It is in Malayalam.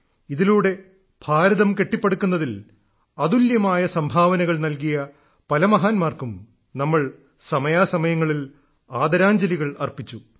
ഇതിലൂടെ ഭാരതം കെട്ടിപ്പടുക്കുന്നതിൽ അതുല്യമായ സംഭവനകൾ നൽകിയ പല മഹാന്മാർക്കും നമ്മൾ സമയാസമയങ്ങളിൽ ആദരാഞ്ജലികൾ അർപ്പിച്ചു